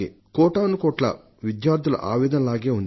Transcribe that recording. కోటానుకోట్ల విద్యార్థుల వేదన మాదిరిగానే ఉంది